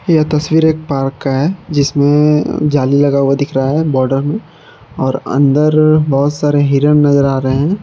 यह तस्वीर एक पार्क का है जिसमें जाली लगा हुआ दिख रहा है बॉर्डर में और अंदर बहुत सारे हिरण नजर आ रहे हैं।